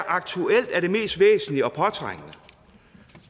aktuelt er det mest væsentlige og påtrængende